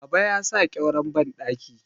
Baba ya sa ƙyauren bandaki